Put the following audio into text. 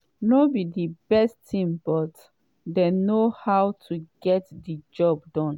no be di best team but dem know how to get di job done.